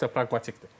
Əksər praqmatikdir.